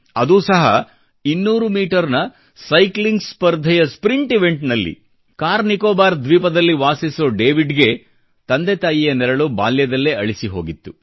ಅದೂ ಸಹ 200 ಮೀಟರ್ನ ಸೈಕ್ಲಿಂಗ್ ಸ್ಪರ್ಧೆಯ ಸ್ಪ್ರಿಂಟ್ ಇವೆಂಟ್ನಲ್ಲಿ ಕಾರ್ ನಿಕೊಬಾರ್ ದ್ವೀಪದಲ್ಲಿ ವಾಸಿಸೋ ಡೇವಿಡ್ಗೆ ತಂದೆ ತಾಯಿಯ ನೆರಳು ಬಾಲ್ಯದಲ್ಲೇ ಅಳಿಸಿಹೋಗಿತ್ತು